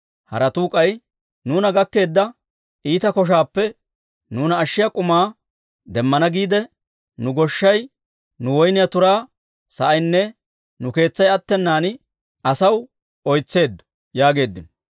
Haratuu k'ay, «Nuuna gakkeedda iita koshaappe nuuna ashshiyaa k'umaa demmana giidde, nu goshshay, nu woyniyaa turaa sa'aynne nu keetsay attenan asaw oytseeddo» yaageeddino.